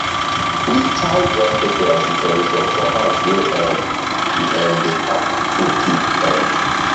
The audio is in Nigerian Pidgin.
we tie dry pepper as decoration for house wey um we um dey pack food keep um